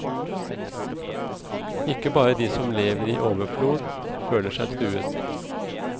Ikke bare de som lever i overflod føler seg truet.